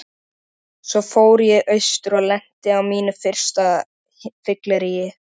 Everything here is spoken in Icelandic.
Svo fór ég austur og lenti á mínu fyrsta fylleríi.